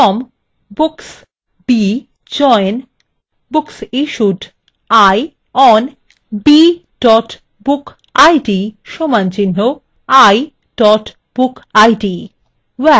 from books b join booksissued i on b bookid = i bookid